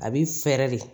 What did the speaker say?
A bi fɛɛrɛ de